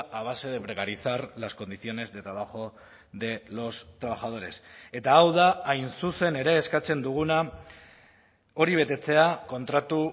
a base de precarizar las condiciones de trabajo de los trabajadores eta hau da hain zuzen ere eskatzen duguna hori betetzea kontratu